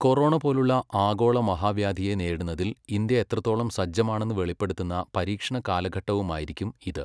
Corona പോലുള്ള ആഗോള മഹാവ്യാധിയെ നേരിടുന്നതിൽ ഇന്ത്യ എത്രത്തോളം സജ്ജമാണെന്ന് വെളിപ്പെടുത്തുന്ന പരീക്ഷണ കാലഘട്ടവുമായിരിക്കും ഇത്.